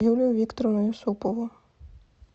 юлию викторовну юсупову